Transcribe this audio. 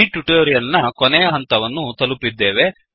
ಈ ಟ್ಯುಟೋರಿಯಲ್ ನ ಕೊನೆಯ ಹಂತವನ್ನು ತಲುಪಿದ್ದೇವೆ